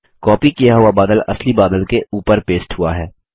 copy किया हुआ बादल असली बादल के ऊपर पेस्ट हुआ है